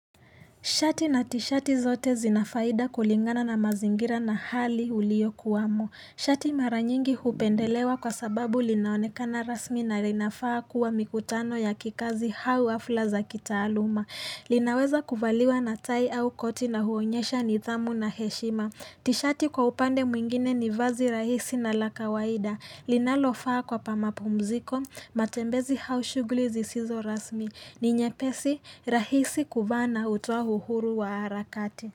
Shati na tishati zote zina faida kulingana na mazingira na hali uliokuwamo. Shati mara nyingi hupendelewa kwa sababu linaonekana rasmi na linafaa kuwa mikutano ya kikazi au hafla za kitaaluma. Linaweza kuvaliwa na tai au koti na huonyesha nidhamu na heshima. Tishati kwa upande mwingine ni vazi rahisi na la kawaida. Linalofaa kwa pa mapumziko, matembezi au shughuli zisizo rasmi. Ni nyepesi rahisi kuvaa na hutoa uhuru wa harakati.